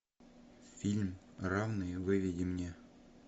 фильм равные выведи мне